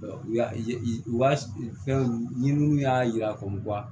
U y'a ye u ka fɛn ɲininiw y'a yira k'a fɔ